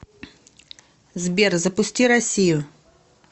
сбер запусти россию